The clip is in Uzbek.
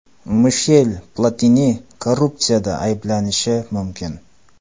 Mishel Platini korrupsiyada ayblanishi mumkin.